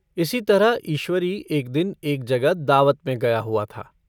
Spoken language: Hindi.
इसी तरह ईश्वरी एक दिन एक जगह दावत में गया हुआ था।